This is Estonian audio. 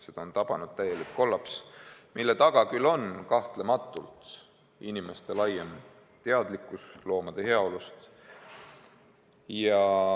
Seda on tabanud täielik kollaps, mille taga on kahtlematult inimeste laiem teadlikkus loomade heaolust.